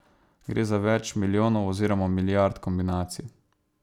Gre za več milijonov oziroma milijard kombinacij.